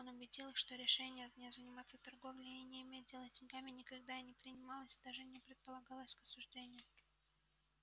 он убедил их что решение не заниматься торговлей и не иметь дело с деньгами никогда не принималось и даже не предполагалось к обсуждению